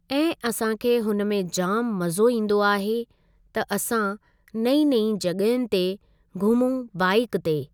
ऐं असां खे हुन में जामु मज़ो ईंदो आहे त असां नईं नईं जॻहियुनि ते घुमूं बाइक ते।